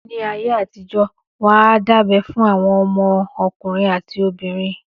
Níí ayé àtijó, wọ́n á dábẹ́ fún àwọn ọmọ ọkùnrin àti obìnrin.